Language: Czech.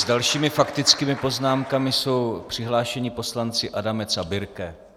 S dalšími faktickými poznámkami jsou přihlášeni poslanci Adamec a Birke.